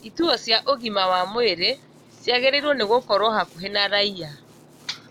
Ituo cia ũgima wa mwĩrĩ ciagĩrĩirwo nĩ gũkorwo hakuhĩ na raia